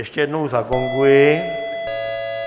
Ještě jednou zagonguji.